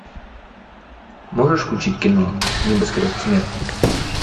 можешь включить кино небоскреб смерти